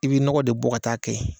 I bɛ nɔgɔn de bɔ ka taa kɛ